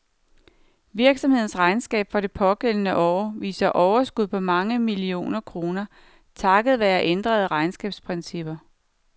Virksomhedens regnskab for det pågældende år viser overskud på mange millioner kroner, takket være ændrede regnskabsprincipper.